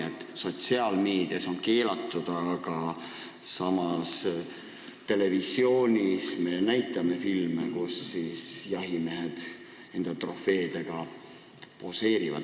Nii et sotsiaalmeedias me küll keelame, aga samas me näitame televisioonis filme, kus jahimehed enda trofeedega poseerivad.